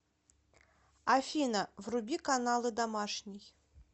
афина вруби каналы домашний